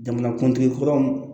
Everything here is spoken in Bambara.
Jamanakuntigi kɔrɔw